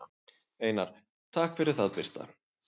Einar: Takk fyrir það Birta.